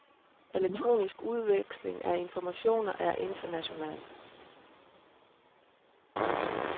Elektronisk udveksling af information er international.